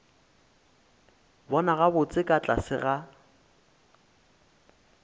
bona gabotse ka tlase ga